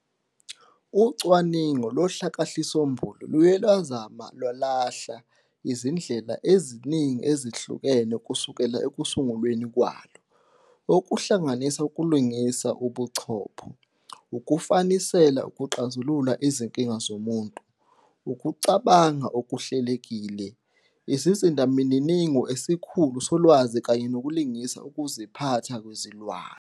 Ucwaningo lohlakahlisombulu luye lwazama futhi lwalahla izindlela eziningi ezihlukene kusukela ekusungulweni kwalo, okuhlanganisa ukulingisa ubuchopho, ukufanisela ukuxazulula izinkinga zomuntu, ukucabanga okuhlelekile, isizindamininingo esikhulu solwazi kanye nokulingisa ukuziphatha kwezilwane.